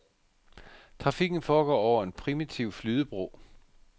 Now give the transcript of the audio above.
Trafikken foregår over en primitiv flydebro.